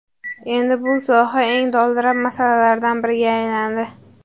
Endi bu soha eng dolzarb masalalardan biriga aylandi.